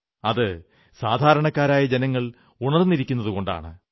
അത് സാധാരണക്കാരായ ജനങ്ങൾ ഉണർന്നിരിക്കുന്നതുകൊണ്ടാണ്